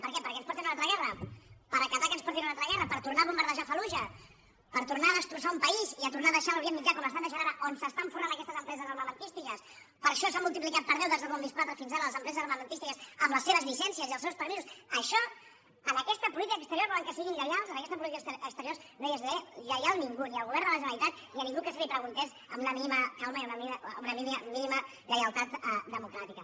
per què perquè ens portin a una altra guerra per acatar que ens portin a una altra guerra per tornar a bombardejar fallujah per tornar a destrossar un país i tornar a deixar l’orient mitjà com l’estan deixant ara on s’estan forrant aquestes empreses armamentístiques per això s’han multiplicat per deu des del dos mil quatre fins ara les empreses armamentístiques amb les seves llicències i els seus permisos a això en aquesta política exterior volen que siguin lleials en aquesta política exterior no és lleial ningú ni el govern de la generalitat ni ningú que se li preguntés amb una mínima calma i una mínima lleialtat democràtica